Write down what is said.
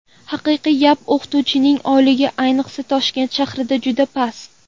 Haqiqiy gap, o‘qituvchining oyligi, ayniqsa, Toshkent shahrida juda past.